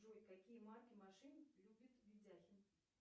джой какие марки машин любит видяхин